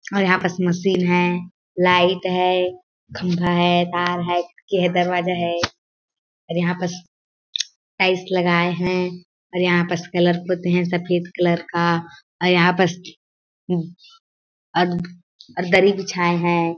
और यहाँ पास मशीन है लाईट है खम्भा है तार है खिड़की है दरवाजा है और यहाँ पास टाईल्स लगाये है और यहाँ पास कलर का और यहाँ पास और दर्री बिछाये हैं ।